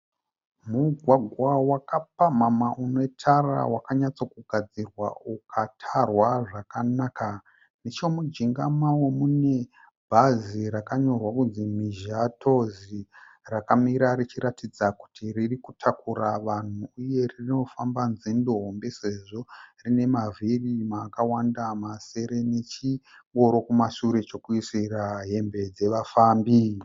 Mugwagwa wakapamhamha une tara.. Wakanyatso kugadzirwa ukatarwa zvakanaka. Nechemujinga mawo mune bhazi rakanyorwa kunzi Mhizha Tours rakamira richiratidza kuti ririkutakura vanhu uye rinofamba nzendo hombe sezvo rine mavhiri akawanda masere, nechingoro kumasure chokuisira hembe dzeva fambi.